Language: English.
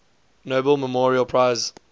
nobel memorial prize